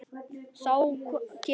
Þá kem ég